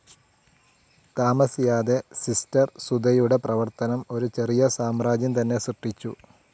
താമസിയാതെ സിസ്റ്റർ സുധയുടെപ്രവർത്തനം ഒരു ചെറിയ സാമ്രാജ്യം തന്നെ സൃഷ്ട്ടിച്ചു.